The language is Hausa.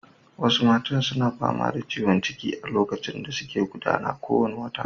Wasu matan suna fama da ciwon ciki a lokacin da suke gudana kowane wata.